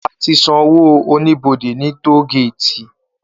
Á ti n sànwó ónibódé ni tógéti